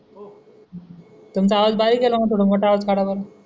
तुमचा आवाज बारीक आहे राव थोडा मोठा काढा बरं